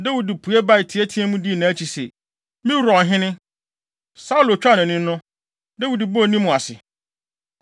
Dawid pue bae, teɛteɛɛ mu dii nʼakyi se, “Me wura ɔhene!” Saulo twaa nʼani no, Dawid bɔɔ ne mu ase.